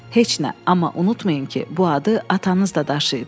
Heç nə, amma unutmayın ki, bu adı atanız da daşıyıb.